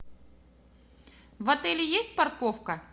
в отеле есть парковка